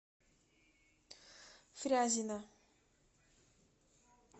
фрязино